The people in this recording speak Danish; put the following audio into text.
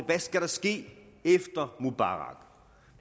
der skal ske efter mubarak og